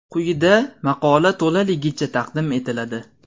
Quyida maqola to‘laligicha taqdim etiladi.